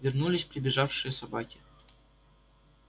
вернулись прибежавшие собаки